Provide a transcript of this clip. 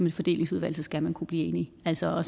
et fordelingsudvalg så skal man kunne blive enige altså